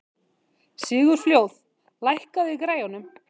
Sigurfljóð, lækkaðu í græjunum.